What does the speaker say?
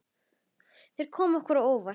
Þeir komu okkur á óvart.